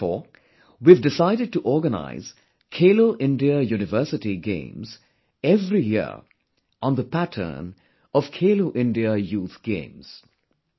Therefore, we have decided to organize 'Khelo India University Games' every year on the pattern of 'Khelo India Youth Games'